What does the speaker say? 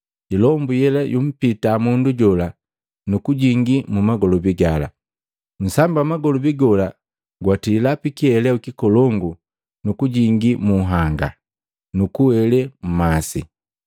Ilombu yela yumpita mundu jola, nukujingi mumagolobi gala. Nsambi wa magolobi gola gwatila pikiheleu kikolongu nu kujingii munhanga, nukuwele mmasi.